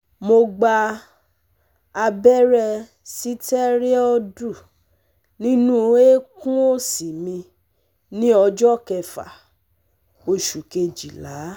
Mo gba abẹ́rẹ́ sitẹriọdu nínú eékún òsì mi ní ọjọ́ kẹfà oṣù Kejìlá